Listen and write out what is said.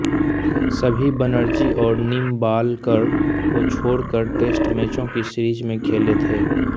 सभी बनर्जी और निंबालकर को छोड़कर टेस्ट मैचों की सीरीज में खेले थे